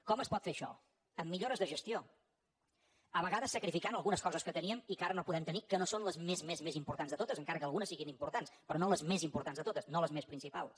com es pot fer això amb millores de gestió a vegades sacrificant algunes coses que teníem i que ara no podem tenir que no són les més més importants de totes encara que algunes siguin importants però no les més importants de totes no les més principals